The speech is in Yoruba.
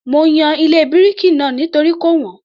Mo yan ilé bíríkì náà nítorí kò wọ́n